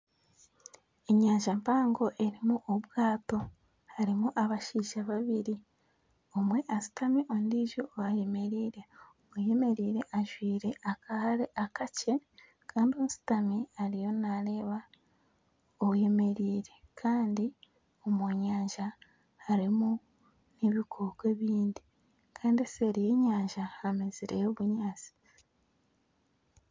Enyanja mpango erimu obwato harimu abashaija babiri omwe ashutami ondiijo ayemereire oyemereire ajwaire akahare akakye kandi oshutami ariyo naareeba oyemereire Kandi omu nyanja harimu n'ebikooko ebindi kandi nseeri y'enyanja hamezireyo obunyaatsi